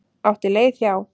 Átti leið hjá.